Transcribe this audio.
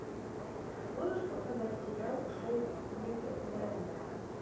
можешь показать сериал шоу кливленда